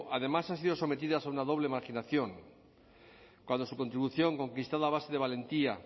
además han sido sometidas a una doble marginación cuando su contribución conquistada a base de valentía